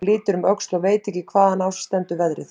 Hún lítur um öxl og veit ekki hvaðan á sig stendur veðrið.